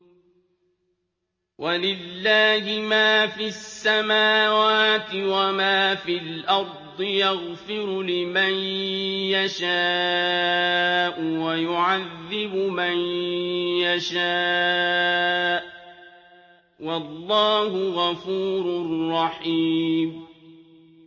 وَلِلَّهِ مَا فِي السَّمَاوَاتِ وَمَا فِي الْأَرْضِ ۚ يَغْفِرُ لِمَن يَشَاءُ وَيُعَذِّبُ مَن يَشَاءُ ۚ وَاللَّهُ غَفُورٌ رَّحِيمٌ